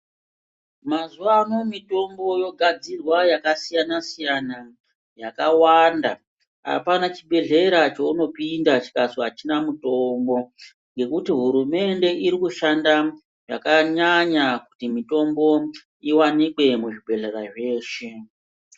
Mazuwa ano mitombo yogadzirwa yakasiyana siyana yakawanda apana chibhedhlera cheunopinda chikazi achina mutombo ngekuti hurumende iri kushanda zvakanyanya kuti mutombo iwanikwe muzvibhedhlera zveshe.